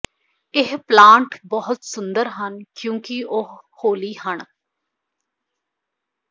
ਇਹ ਪਲਾਂਟ ਬਹੁਤ ਸੁੰਦਰ ਹਨ ਕਿਉਂਕਿ ਉਹ ਹੌਲੀ ਹਨ